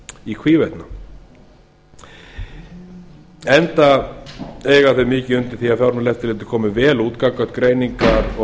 í hvívetna enda eiga þau mikið undir því að fjármálaeftirliti komi vel út gagnvart greiningar og